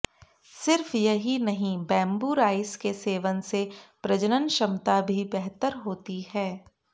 सिर्फ यही नहीं बैंबू राइस के सेवन से प्रजनन क्षमता भी बेहतर होती है